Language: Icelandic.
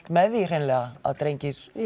með því hreinlega að drengir